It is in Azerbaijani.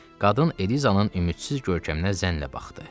Qadın Elizanın ümidsiz görkəminə zənnlə baxdı.